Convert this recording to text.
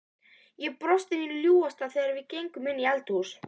Ég brosti mínu ljúfasta þegar við gengum inn í eldhús.